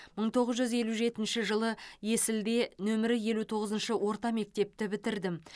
мың тоғыз жүз елу жетінші жылы есілде нөмірі елу тоғызыншы орта мектепті бітірдім